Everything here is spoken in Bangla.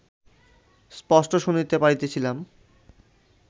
স্পষ্ট শুনিতে পারিতেছিলাম